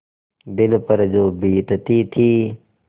दिल पर जो बीतती थी